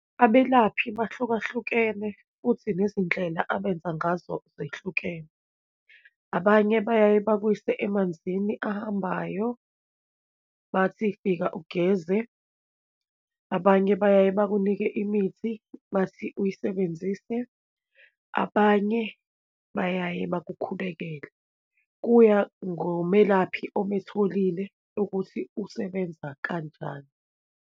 Abelaphi buhlukahlukene, futhi nezindlela abenza ngazo zehlukene. Abanye bayaye bakuyise emanzini ahambayo, bathi fika ugeze, abanye bayaye bakunike imithi, bathi uyisebenzise, abanye bayaye bakukhulekele. Kuya ngomelaphi ometholile ukuthi usebenza kanjani.